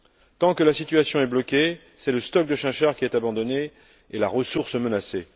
Tant que la situation est bloquée, c'est le stock de chinchard qui est abandonné et la ressource menacée.